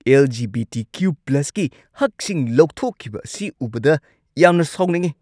L. G. B. T. Q.+ ꯀꯤ ꯍꯛꯁꯤꯡ ꯂꯧꯊꯣꯛꯈꯤꯕ ꯑꯁꯤ ꯎꯕꯗ ꯌꯥꯝꯅ ꯁꯥꯎꯅꯤꯡꯉꯤ ꯫